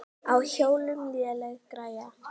Á hjólum léleg græja.